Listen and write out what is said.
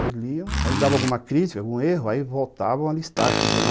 Aí lia, dava alguma crítica, algum erro, aí voltavam a listar, dizendo